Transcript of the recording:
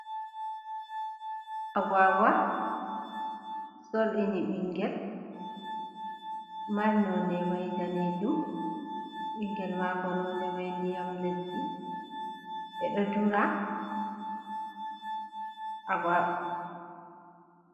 Agwagwa solɗini ɓingel mari nonde mai danejum, ɓingel mako nonde mai ndiyam leddi. ɓeɗo dura agwaa...